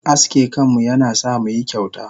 Aske kanmu yana sa muyi kyauta.